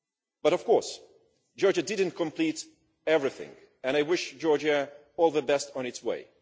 But of course Georgia has not completed everything and I wish Georgia all the best on its way.